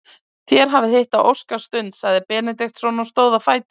Þér hafið hitt á óskastund, sagði Benediktsson og stóð á fætur.